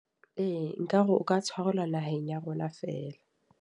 Ee, nka re o ka tshwarelwa naheng ya rona feela.